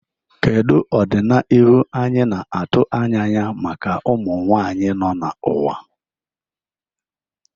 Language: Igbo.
Kedu ọdịnihu anyị na-atụ anya maka ụmụ nwanyị nọ n'ụwa?